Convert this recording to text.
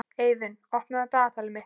Eiðunn, opnaðu dagatalið mitt.